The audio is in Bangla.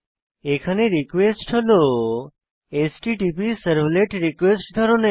এখানে রিকোয়েস্ট হল হ্যাটপসার্ভলেটারকোয়েস্ট ধরনের